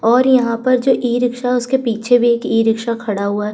और यहाँ पर जो ई-रिक्शा उसके पीछे भी एक ई-रिक्शा खड़ा हुआ है।